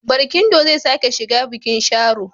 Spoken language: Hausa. Barkindo zai sake shiga bikin Sharo.